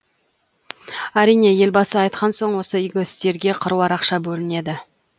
әрине елбасы айтқан соң осы игі істерге қыруар ақша бөлінеді